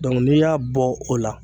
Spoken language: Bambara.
n'i y'a bɔ o la